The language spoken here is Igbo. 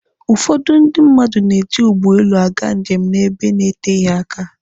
Ụfọdụ ndị mmadụ na-eji ụgbọelu aga njem n'ebe na-eteghi aka.